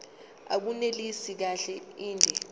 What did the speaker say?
abunelisi kahle inde